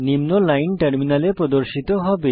নিম্ন লাইন টার্মিনালে প্রদর্শিত হবে